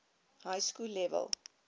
high school level